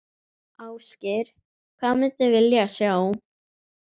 Ásgeir: Hvað myndir vilja sjá?